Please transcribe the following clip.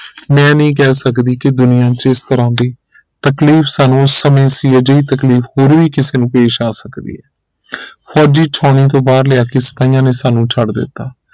ਮੈਂ ਇਹ ਨਹੀਂ ਕਹਿ ਸਕਦੀ ਕਿ ਦੁਨੀਆ ਚ ਜਿਸ ਤਰਾਹ ਦੀ ਤਕਲੀਫ ਉਸ ਸਮੇ ਸੀ ਅੱਜ ਇਹ ਤਕਲੀਫ ਹੋਰ ਵੀ ਕਿਸੇ ਨੂੰ ਪੇਸ਼ ਆ ਸਕਦੀ ਹੈ ਫੋਜੀ ਛਾਉਣੀ ਤੋਂ ਬਾਹਰ ਲਿਆ ਕੇ ਸਿਪਾਹੀਆਂ ਨੇ ਸਾਨੂ ਛੱਡ ਦਿੱਤਾ